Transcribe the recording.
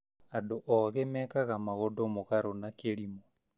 Andũ oogĩ mekaga maũndũ mugaru na kirimũ